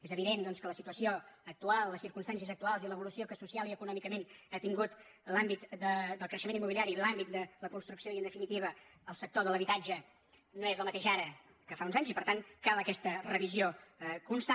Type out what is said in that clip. és evident doncs que la situació actual les circumstàncies actuals i l’evolució que socialment i econòmicament ha tingut l’àmbit del creixement im·mobiliari l’àmbit de la construcció i en definitiva el sector de l’habitatge no són les mateixes ara que fa uns anys i per tant cal aquesta revisió constant